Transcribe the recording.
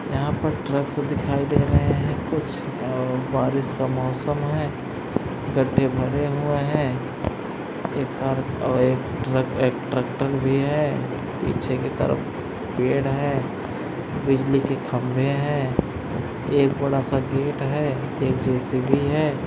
यहां पर ट्रक्स दिखाई दे रहे हैं कुछ अह बारिश का मौसम है गड्ढे भरे हुए हैं एक कार अह एक ट्रक एक ट्रैक्टर भी है पीछे की तरफ पेड़ है बिजली के खंभे हैं एक बड़ा सा गेट है एक जे_सी_बी है।